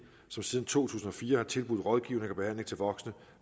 som siden to tusind og fire har tilbudt rådgivning og behandling til voksne